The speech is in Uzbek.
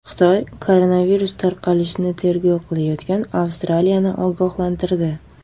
Xitoy koronavirus tarqalishini tergov qilayotgan Avstraliyani ogohlantirdi.